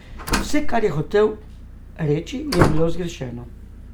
Vse, kar je hotel reči, je bilo zgrešeno.